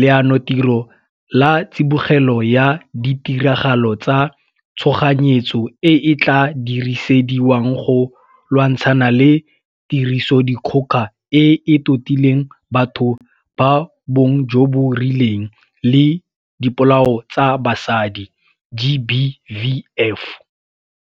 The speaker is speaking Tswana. Leanotiro la Tsibogelo ya Ditiragalo tsa Tshoganyetso e e tla dirisediwang go lwantshana le Tirisodikgoka e e Totileng Batho ba Bong jo bo Rileng le Dipolao tsa Basadi, GBVF.